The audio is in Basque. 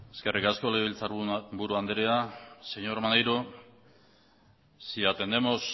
eskerrik asko legebiltzar buru andrea señor maneiro si atenemos